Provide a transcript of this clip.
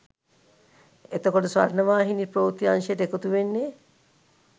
එතකොට ස්වර්ණවාහිනී ප්‍රවෘත්ති අංශයට එකතු වෙන්නේ?